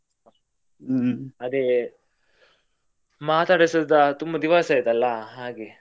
ಹ್ಮ್ ಅದೇ ಮಾತಾಡಿಸ ತುಂಬಾ ದಿವಸ ಆಯ್ತಲ್ಲಾ ಹಾಗೆ.